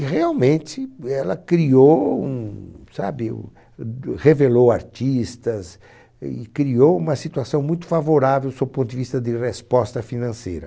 E realmente ela criou um, sabe, revelou artistas e criou uma situação muito favorável sob o ponto de vista de resposta financeira.